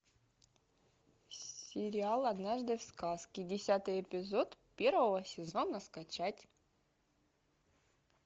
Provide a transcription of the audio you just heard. сериал однажды в сказке десятый эпизод первого сезона скачать